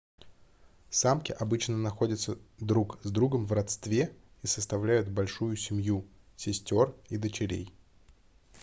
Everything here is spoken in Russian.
самки обычно находятся друг с другом в родстве и составляют большую семью сестёр и дочерей